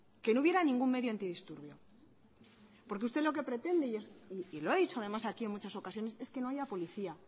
que no hubiera ningún medio antidisturbios porque lo que usted pretende y lo ha dicho además aquí en muchas ocasiones es que no haya policía